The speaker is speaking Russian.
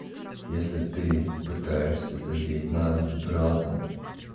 если ты пытаешься задеть нас с братом